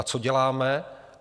A co děláme?